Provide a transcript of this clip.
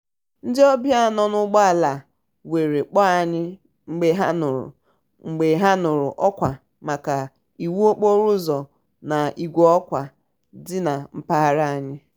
ndi òbia nò n'úgbò ala were kpòò anyi mgbe ha núrú mgbe ha núrú òkwa maka iwu okporo úzò na igwe okwu di na mpaghara ha.